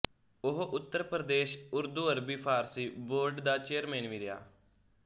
ਉਹ ਉੱਤਰ ਪ੍ਰਦੇਸ਼ ਉਰਦੂਅਰਬੀ ਫਾਰਸੀ ਬੋਰਡ ਦਾ ਚੇਅਰਮੈਨ ਵੀ ਰਿਹਾ